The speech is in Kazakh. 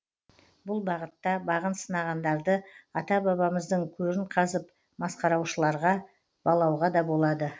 бұл бағытта бағын сынағандарды ата бабамыздың көрін қазып масқараушыларға балауға да болады